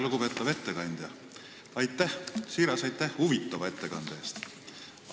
Lugupeetav ettekandja, siiras aitäh huvitava ettekande eest!